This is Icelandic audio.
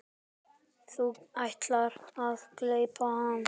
Þú ætlaðir að gleypa hana.